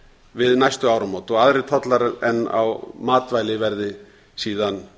við næstu áramót og aðrir tollar en á matvæli verði síðan